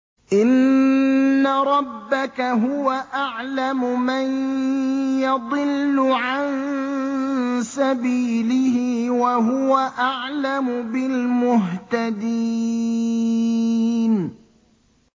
إِنَّ رَبَّكَ هُوَ أَعْلَمُ مَن يَضِلُّ عَن سَبِيلِهِ ۖ وَهُوَ أَعْلَمُ بِالْمُهْتَدِينَ